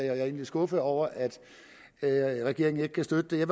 er egentlig skuffet over at regeringen ikke kan støtte det jeg